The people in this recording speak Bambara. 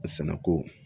A sɛnɛko